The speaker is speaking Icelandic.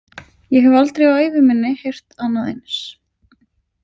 Ég hef aldrei á ævi minni heyrt annað eins.